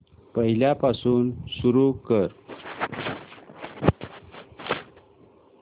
पहिल्यापासून सुरू कर